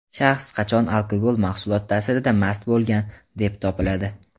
Shaxs qachon alkogol mahsulot taʼsirida mast bo‘lgan deb topiladi?.